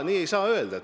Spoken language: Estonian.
Nii ei saa öelda.